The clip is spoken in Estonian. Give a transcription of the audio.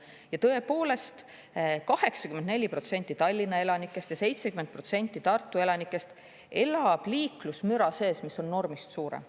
Ja tõepoolest, 84% Tallinna elanikest ja 70% Tartu elanikest elab liiklusmüra sees, mis on normist suurem.